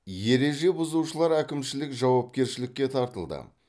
ереже бұзушылар әкімшілік жауапкершілікке тартылды